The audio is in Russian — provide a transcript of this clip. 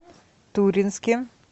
туринске